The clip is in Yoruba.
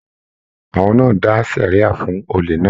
Àwọn náà dà sẹria fún òlè náà.